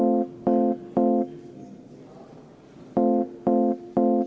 Eesti Reformierakonna ettepanek ei leidnud toetust.